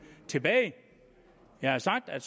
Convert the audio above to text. tilbage jeg har sagt at